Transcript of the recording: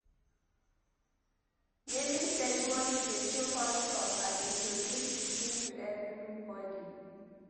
Naming ceremony dey show culture and introduce pikin to everybody.